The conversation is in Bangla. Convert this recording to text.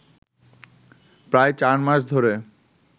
প্রায় চার মাস ধরে